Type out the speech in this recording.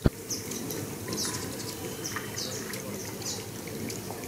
пошукай первый выпуск ярика лапы